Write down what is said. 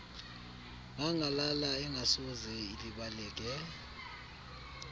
ngangalala engasoze ilibaleke